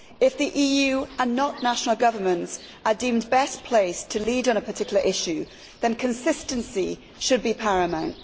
If the EU and not national governments are deemed best placed to lead on a particular issue, then consistency should be paramount.